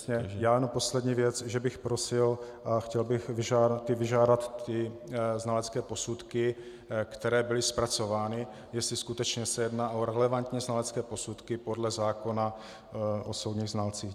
Já jenom poslední věc, že bych prosil a chtěl bych vyžádat ty znalecké posudky, které byly zpracovány, jestli skutečně se jedná o relevantní znalecké posudky podle zákona o soudních znalcích.